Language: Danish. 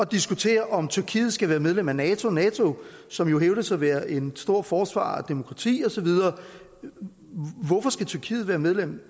diskutere om tyrkiet skal være medlem af nato nato som jo hævder at være en stor forsvarer af demokrati og så videre hvorfor skal tyrkiet være medlem